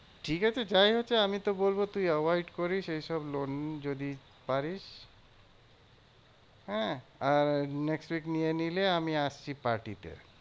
ঠিকাছে, যাই হয়েছে আমি তো বলবো তুই over it করিস এইসব loan যদি পারিস। হ্যাঁ? আর next week নিয়ে নিলে আমি আসছি party তে।